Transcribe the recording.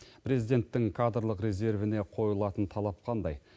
президенттің кадрлық резервіне қойылатын талап қандай